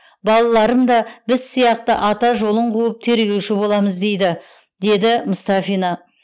балаларым да біз сияқты ата жолын қуып тергеуші боламыз дейді деді мұстафина